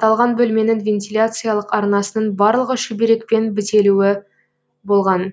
аталған бөлменің вентиляциялық арнасының барлығы шүберекпен бітелуі болған